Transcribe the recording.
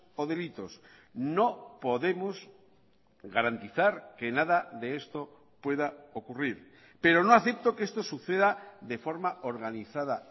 o delitos no podemos garantizar que nada de esto pueda ocurrir pero no acepto que esto suceda de forma organizada